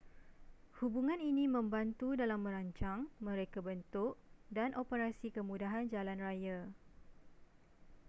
hubungan ini membantu dalam merancang merekabentuk dan operasi kemudahan jalanraya